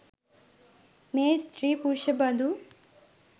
මේ ස්ත්‍රී පුරුෂ බඳු